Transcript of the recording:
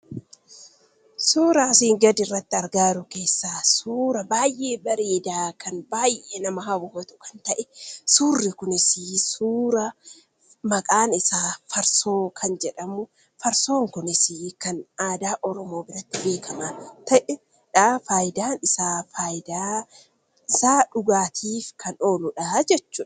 Suura asii gaditti argaa jirru keessaa, suuraa baayyee bareeda kan baayyee nama hawwatu kan ta'e. Suurri kunis suura maqaan isaa Farsoo kan jedhamu. Farsoon kunis kan aadaa Oromoo biratti beekamaa kan ta'edha. Fayidaan isaa dhugaatiif kan ooludhaa jechuudha.